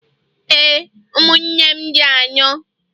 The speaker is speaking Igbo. ee, ụmụnne m dị anọ.